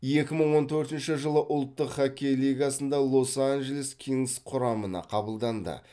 екі мың он төртінші жылы ұлттық хоккей лигасындағы лос анджелес кингс құрамына қабылданды